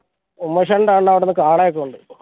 ഉമേഷേട്ട